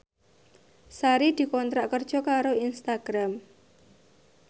Sari dikontrak kerja karo Instagram